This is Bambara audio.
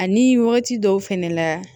Ani wagati dɔw fɛnɛ la